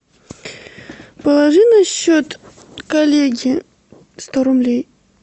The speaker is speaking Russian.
положи на счет коллеге сто рублей